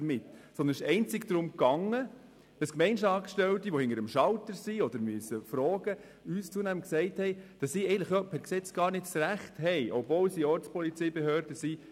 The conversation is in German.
Es ging einzig darum, dass Gemeindeangestellte, die hinter dem Schalter arbeiten, uns zunehmend sagten, dass sie per Gesetz gar nicht das Recht hätten, eine ID zu verlangen, obwohl sie Ortspolizeibehörde sind.